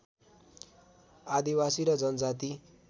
आदिवासी र जनजाति